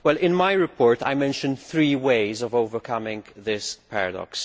In my report I mention three ways of overcoming this paradox.